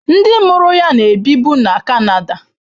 Ndị mụrụ ya na-ebibu na Canada.